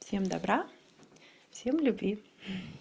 всем добра всем любви